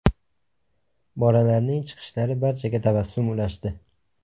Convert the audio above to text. Bolalarning chiqishlari barchaga tabassum ulashdi.